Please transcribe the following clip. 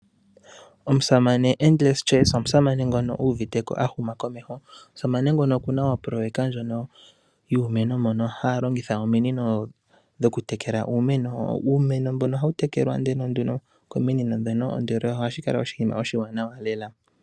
Omusamane Endless Chelsea, omusamane ngono u uviteko ahuma komeho. Omusamane ngono okuna opoloyeka ndjono, yuumeno mono haya longitha ominino dhoku tekela uumeno. Uumeno mbono ohawu tekelwa nduno kominino dhono ndele ohashi kala oshinima oshiwanawa lela.